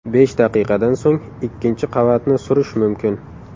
Besh daqiqadan so‘ng ikkinchi qavatni surish mumkin.